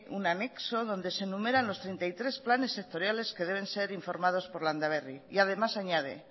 un anexo donde se enumeran los treinta y tres planes sectoriales que deben ser informados por landaberri y además añade